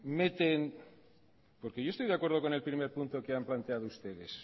meten porque yo estoy de acuerdo con el primer punto que han planteado ustedes